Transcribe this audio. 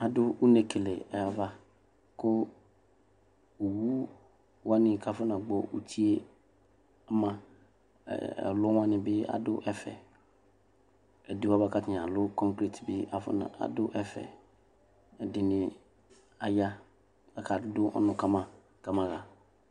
Adʋ une kele ayavaKʋ owu wani kafunagbɔ utie ɔmaƐlu wani bi adʋ ɛfɛ Ɛdiwani kafɔnalʋ kongrate bi afɔna, adʋ ɛfɛƐdini aya , kadʋ ɔnu kama kabaɣa